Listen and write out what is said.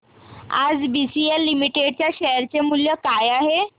आज BCL limited च्या share चे मूल्य काय आहे